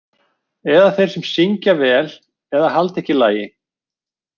Eða þeir sem syngja vel eða halda ekki lagi.